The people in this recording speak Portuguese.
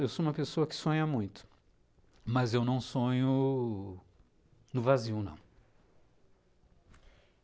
Eu sou uma pessoa que sonha muito, mas eu não sonho no vazio, não.